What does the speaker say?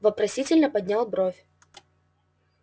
вопросительно поднял бровь